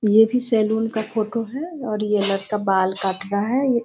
ये भी सैलून का फोटो है और ये लड़का बाल काट रहा है।